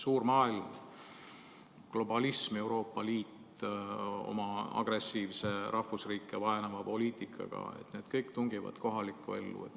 Suur maailm, globalism, Euroopa Liit oma agressiivse, rahvusriike vaenava poliitikaga – need kõik tungivad kohalikku ellu.